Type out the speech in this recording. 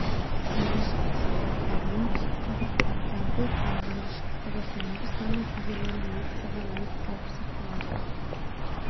күндіз қызылорда оңтүстік қазақстан жамбыл қарағанды шығыс қазақстан облыстарының кей жерлерінде өте жоғары өрт қауіпі сақталады